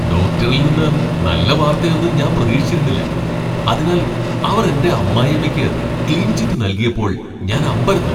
ഡോക്ടറിൽ നിന്ന് നല്ല വാർത്തയൊന്നും ഞാൻ പ്രതീക്ഷിച്ചിരുന്നില്ല, അതിനാൽ അവർ എന്റെ അമ്മായിയമ്മയ്ക്ക് ക്ലീൻ ചിറ്റ് നൽകിയപ്പോൾ ഞാൻ അമ്പരന്നു.